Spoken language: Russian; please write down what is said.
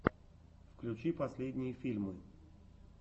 включи последние фильмы